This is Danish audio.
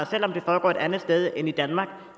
selv om det foregår et andet sted end i danmark